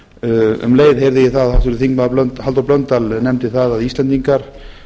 um leið heyrði ég að háttvirtur þingmaður halldór blöndal nefndi það að íslendingar